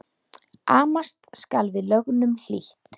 Amast skal við lögnum lítt.